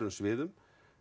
sviðum